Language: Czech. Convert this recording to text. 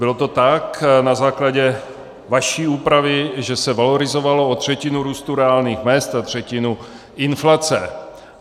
Bylo to tak na základě vaší úpravy, že se valorizovalo o třetinu růstu reálných mezd a třetinu inflace.